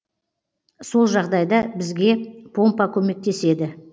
сол жағдайда бізге помпа көмектеседі